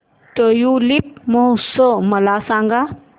tulip महोत्सव मला सांग